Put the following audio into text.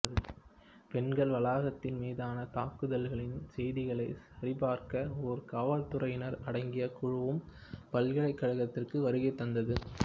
பெண்கள் வளாகத்தின் மீதான தாக்குதல்களின் செய்திகளை சரிபார்க்க ஒரு காவல்துறையினர் அடங்கிய குழுவும் பல்கலைக்கழகத்திற்கு வருகை தந்தது